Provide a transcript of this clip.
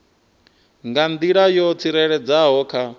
nga nḓila yo tsireledzeaho kha